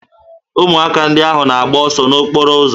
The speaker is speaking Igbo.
Ụmụaka ndị ahụ na-agba ọsọ n'okporo ụzọ